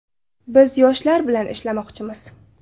Biz yoshlar bilan ishlamoqchimiz” .